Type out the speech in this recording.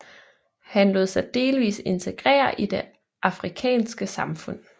Han lod sig delvis integrere i det afrikanske samfund